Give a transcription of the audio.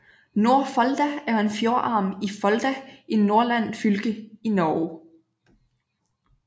Nordfolda er en fjordarm af Folda i Nordland fylke i Norge